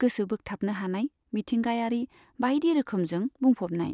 गोसो बोगथाबनो हानाय मिथिंगायारि बायदि रोखोमजों बुंफबनाय।